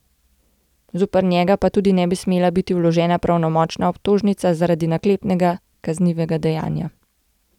Zoper njega pa tudi ne bi smela biti vložena pravnomočna obtožnica zaradi naklepnega kaznivega dejanja.